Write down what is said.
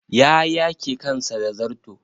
Ya yake kansa da zarto.